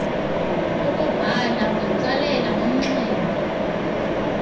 ukubhala ungatsalela umnxeba